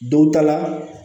Don ta la